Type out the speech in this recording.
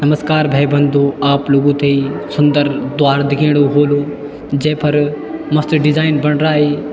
नमस्कार भै बंधू आप लुगो थेई सुन्दर द्वार दिखेणु होलू जेफ़र मस्त डिजाईन बण राई।